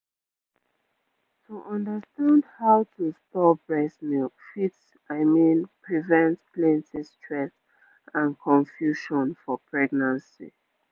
to understand how to store breast milk fit i mean prevent plenty stress and confusion for pregnancy.